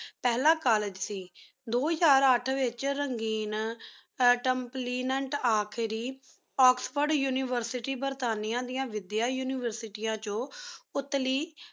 ਫਲਾ College ਸੀ ਦੋ ਹਜ਼ਾਰ ਅਠ ਵੇਚ ਰੰਘੇਨ oxford University ਆਖਰੀ ਏਕ੍ਸ੍ਫੋੜੇ ਉਨਿਵੇਸ੍ਤੇਰੀ University ਦਯਾਨ ਵੇਦੇਯਾਂ ਉਨਿਵੇਸ੍ਤੇਰੀ ਆਂ ਚੁਣ ਉਤਲੀ